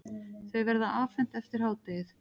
Þau verða afhent eftir hádegið.